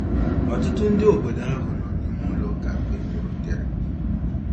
Ọtụtụ ndị obodo ahụ nọ n'ime ụlọ Ụka mgbe m rutere.